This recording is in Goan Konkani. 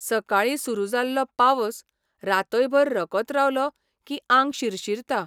सकाळी सुरू जाल्लो पावस रातयभर रकत रावलो की आंग शिरशिरता.